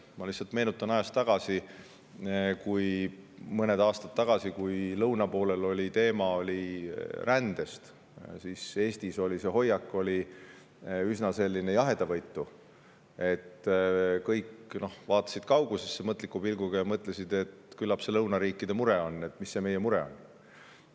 Ma lihtsalt meenutan, et kui mõned aastad tagasi oli lõunapoolel üleval rändeteema, siis Eesti hoiak oli üsna jahedavõitu – kõik vaatasid mõtliku pilguga kaugusesse ja mõtlesid, et küllap see on lõunariikide mure, mis see meie mure on.